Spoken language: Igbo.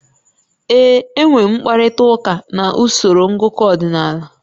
Ee. Enwere m mkparịta ụka na usoro ngụkọ ọdịnala